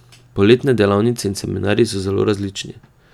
Poletne delavnice in seminarji so zelo različni.